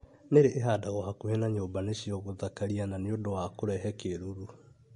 Nĩrĩ ĩhandagwo hakuhĩ na nyumba nĩcio gũthakaria na nĩ ũndũ wa kũrehe kĩruru.